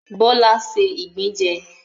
Bọ́lá ṣé ìgbín jẹ